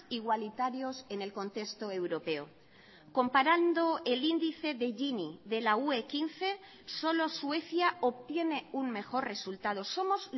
igualitarios en el contexto europeo comparando el índice de gini de la ue quince solo suecia obtiene un mejor resultado somos